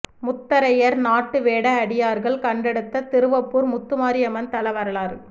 முத்தரையர் நாட்டு வேட அடியார்கள் கண்டெடுத்த திருவப்பூர் முத்துமாரி அம்மன் தல வரலாறு